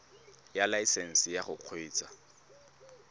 ya laesesnse ya go kgweetsa